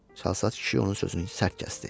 Çalsat kişi onun sözünü sərt kəsdi.